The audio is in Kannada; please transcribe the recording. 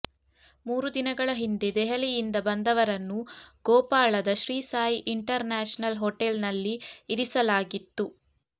ಮೂರು ದಿನಗಳ ಹಿಂದೆ ದೆಹಲಿಯಿಂದ ಬಂದವರನ್ನು ಗೋಪಾಳದ ಶ್ರೀ ಸಾಯಿ ಇಂಟರ್ ನ್ಯಾಶನಲ್ ಹೋಟೆಲ್ನಲ್ಲಿ ಇರಿಸಲಾಗಿತ್ತು